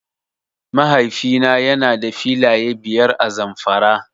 Mahaifi na yana da filaye biyar a Zamfara.